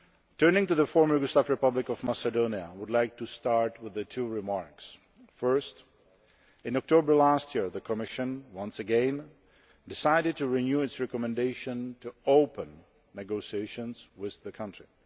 Turning to the Former Yugoslav Republic of Macedonia, I would like to start with two remarks. First, in October last year, the Commission, once again, decided to renew its recommendation to open negotiations with the country.